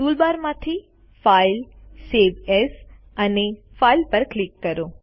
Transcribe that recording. toolbar માંથી file save as અને file પર ક્લિક કરો